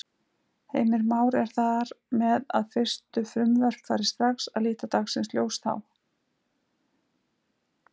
Heimir Már: Er þar með að fyrstu frumvörp fari strax að líta dagsins ljós þá?